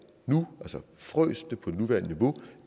nu altså frøs det på det nuværende niveau